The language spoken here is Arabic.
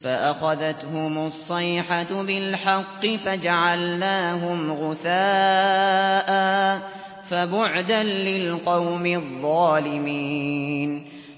فَأَخَذَتْهُمُ الصَّيْحَةُ بِالْحَقِّ فَجَعَلْنَاهُمْ غُثَاءً ۚ فَبُعْدًا لِّلْقَوْمِ الظَّالِمِينَ